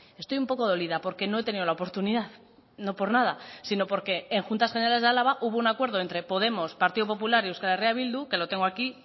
estoy un poco dolida porque no he tenido la oportunidad no por nada sino porque en juntas generales de álava hubo un acuerdo entre podemos partido popular y euskal herria bildu que lo tengo aquí